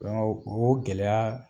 Dɔnku o gɛlɛya